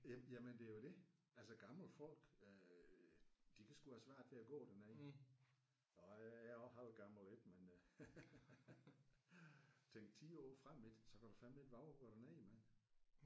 Ja jamen det er jo det. Altså gamle folk øh de kan sgu have svært ved at gå dernede og jeg er jo også halvgammel ik men øh tænk 10 år frem ik så kan du fandeme ikke vove at gå derned mand